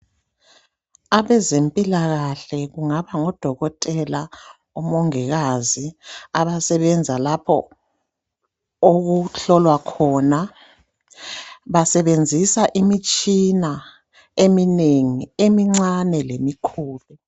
Abezempilakahle kungaba ngodokotela, omongikazi abasebenza lapho okuhlolwa khona basebenzisa imitshina eminengi emincane lemikhulu.